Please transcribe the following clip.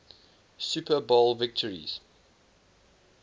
super bowl victories